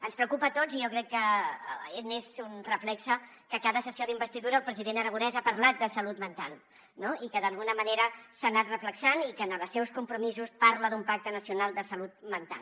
ens preocupa a tots i jo crec que n’és un reflex que a cada sessió d’investidura el president aragonès ha parlat de salut mental no i que d’alguna manera s’ha anat reflectint i que en els seus compromisos parla d’un pacte nacional de salut mental